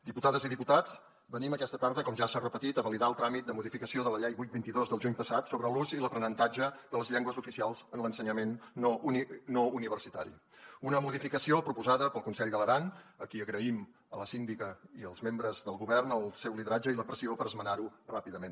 diputades i diputats venim aquesta tarda com ja s’ha repetit a validar el tràmit de modificació de la llei vuit dos mil vint dos del juny passat sobre l’ús i l’aprenentatge de les llengües oficials en l’ensenyament no universitari una modificació proposada pel consell de l’aran i agraïm a la síndica i als membres del govern el seu lideratge i la pressió per esmenarho ràpidament